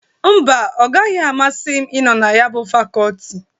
Mba, ọ agahi amasị m ịnọ na ya bụ fakọtị.